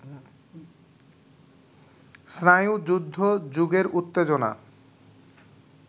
স্নায়ুযুদ্ধ-যুগের উত্তেজনা